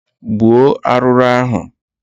Gbuo arụrụ ahụ!